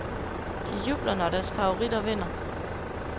De jubler, når deres favoritter vinder.